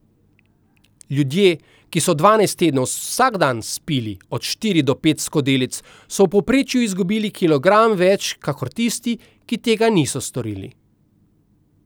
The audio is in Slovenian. Ljudje, ki so dvanajst tednov vsak dan spili od štiri do pet skodelic, so v povprečju izgubili kilogram več kakor tisti, ki tega niso storili.